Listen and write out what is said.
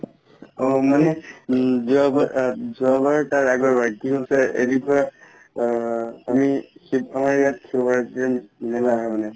অ মানে উম যোৱা বাৰ আ যোৱা বাৰ তাৰ আগৰ বাৰ কি হৈছে আ আমি মানে